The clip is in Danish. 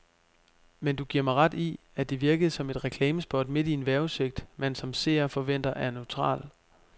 Men giver du mig ret i, at det virkede som et reklamespot midt i en vejrudsigt, man som seer forventer er neutral.